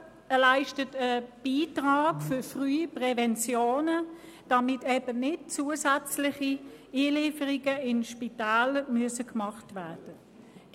Er leistet einen Beitrag zur frühen Prävention, damit eben nicht zusätzliche Einlieferungen in die Spitäler gemacht werden müssen.